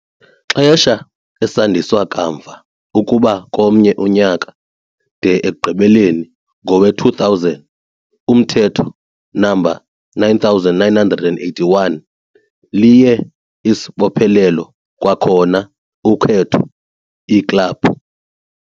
Xesha esandiswa kamva ukuba komnye unyaka, de ekugqibeleni, ngowe-2000, uMthetho No. 9981 liye isibophelelo, kwakhona ukhetho iiklabhu.